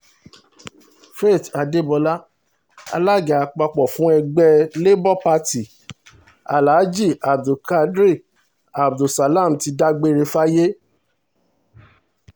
faith adébọlá alága àpapọ̀ fún ẹgbẹ́ labour party alaají abdulkare abdul salam ti dágbére fáyé